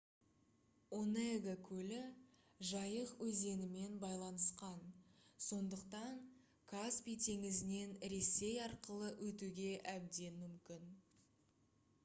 онега көлі жайық өзенімен байланысқан сондықтан каспий теңізінен ресей арқылы өтуге әбден мүмкін